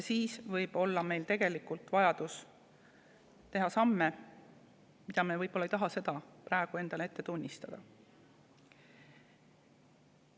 Siis võib meil olla vaja teha samme, mida me võib-olla ei taha praegu endale tunnistadagi.